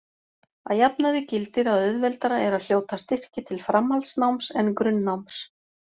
Að jafnaði gildir að auðveldara er að hljóta styrki til framhaldsnáms en grunnnáms.